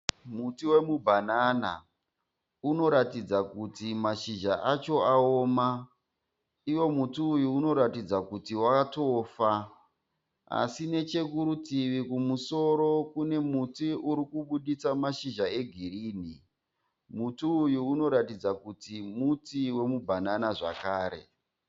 Muti wemubhanana, unoratidza kuti mazhizha acho aoma. Iwo muti uyu unoratidza kuti watofa. Asi nechekurutivi kumusoro kune muti urikubuditsa mazhizha egirini. Muti uyu unoratidza kuti muti wemubhanana zvakare.